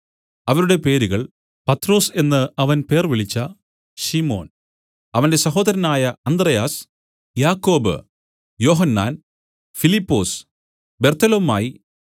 അവരുടെ പേരുകൾ പത്രൊസ് എന്നു അവൻ പേർവിളിച്ച ശിമോൻ അവന്റെ സഹോദരനായ അന്ത്രെയാസ് യാക്കോബ് യോഹന്നാൻ ഫിലിപ്പൊസ് ബർത്തൊലൊമായി